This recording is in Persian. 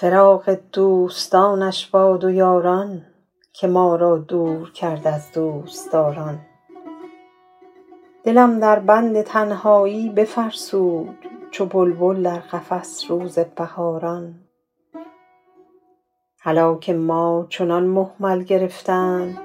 فراق دوستانش باد و یاران که ما را دور کرد از دوستداران دلم در بند تنهایی بفرسود چو بلبل در قفس روز بهاران هلاک ما چنان مهمل گرفتند